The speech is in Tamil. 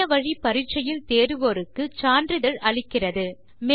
இணைய வழி பரிட்சையில் தேருவோருக்கு சான்றிதழ் அளிக்கிறது